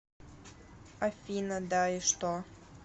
афина да и что